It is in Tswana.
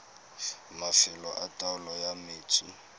mafelo a taolo ya metsi